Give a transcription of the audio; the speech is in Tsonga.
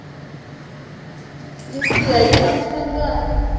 minsiha yi fambisa ngati